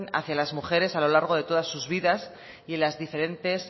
hacia las mujeres a lo largo de todas sus vidas y en las diferentes